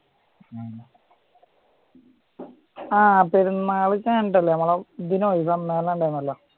ആ പെരുന്നാള് കഴിഞ്ഞിട്ടല്ലേ നമ്മള് ഇതിനു പോയി